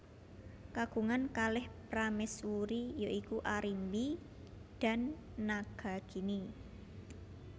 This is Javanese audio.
Kagungan kalih prameswuri ya iku Arimbi dan Nagagini